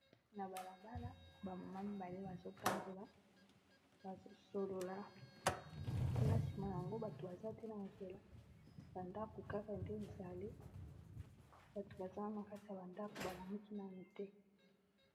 na balabala bamama mibale bazotambola bazosolola kuna nsima yango bato baza te na nzela bandako kaka nde ezali bato baza na kati ya bandako balamoki nano te.